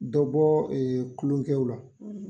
Dɔbɔ kulonkɛw la;